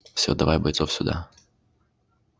все давай бойцов сюда